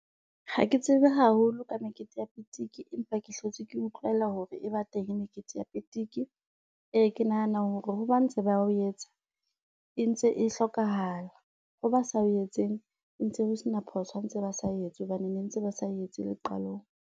Ha ke tsebe haholo ka mekete ya pitiki empa ke hlotse ke utlwela hore e ba teng mekete ya pitiki. Ee ke nahana hore ho ba ntse ba o etsa e ntse e hlokahala. Ho ba sa o etseng ho ntse ho sena phoso ha ntse ba sa o etse hobane ne ntse ba sa o etse le qalong.